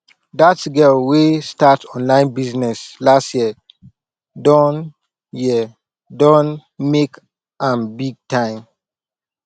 that girl wey start online business last year don year don make am big time